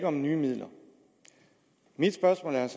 om nye midler mit spørgsmål er